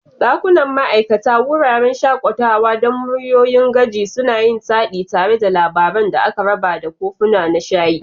Dakunan ma'aikata, wuraren shakatawa don muryoyin gaji, suna yin taɗi tare da labaran da aka raba da kofuna na shayi.